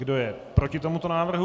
Kdo je proti tomuto návrhu?